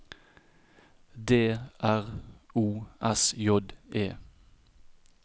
D R O S J E